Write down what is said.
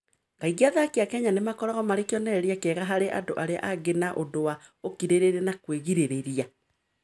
Kaingĩ athaki a Kenya nĩ makoragwo marĩ kĩonereria kĩega harĩ andũ arĩa angĩ na ũndũ wa ũkirĩrĩria na kwĩgirĩrĩria.